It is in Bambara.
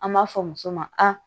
An b'a fɔ muso ma a